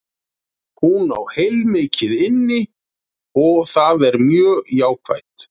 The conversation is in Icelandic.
Hún á heilmikið inni og það er mjög jákvætt.